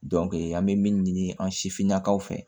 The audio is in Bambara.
an bɛ min ɲini an sifinnakaw fɛ